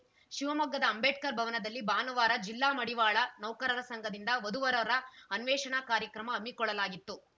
ಶಿವಮೊಗ್ಗದ ಅಂಬೇಡ್ಕರ್‌ ಭವನದಲ್ಲಿ ಭಾನುವಾರ ಜಿಲ್ಲಾ ಮಡಿವಾಳ ನೌಕರರ ಸಂಘದಿಂದ ವಧುವರರ ಅನ್ವೇಷಣಾ ಕಾರ್ಯಕ್ರಮ ಹಮ್ಮಿಕೊಳ್ಳಲಾಗಿತ್ತು